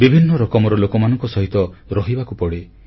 ବିଭିନ୍ନ ରକମର ଲୋକମାନଙ୍କ ସହିତ ରହିବାକୁ ପଡ଼େ